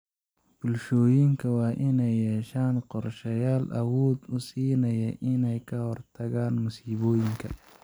Bulshooyinka waa inay yeeshaan qorsheyaal awood u siinaya inay ka hortagaan masiibooyinka.